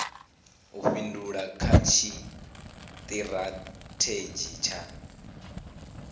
u fhindula kha tshitirathedzhi tsha